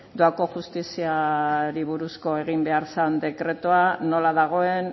doako justiziari buruzko egin behar zan dekretua nola dagoen